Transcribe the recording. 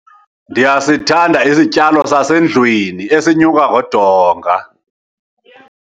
Ndiyasithanda isityalo sasendlwini esinyuka ngodonga.